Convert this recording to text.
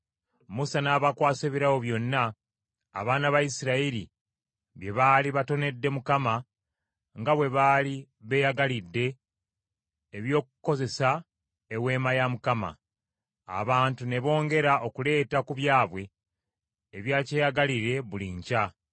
Musa n’abakwasa ebirabo byonna abaana ba Isirayiri bye baali batonedde Mukama nga bwe baali beeyagalidde eby’okukozesa eweema ya Mukama . Abantu ne bongera okuleeta ku byabwe ebya kyeyagalire buli nkya.